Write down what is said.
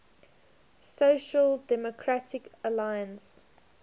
social democratic alliance